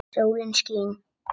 Sólin skín.